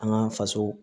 An ka faso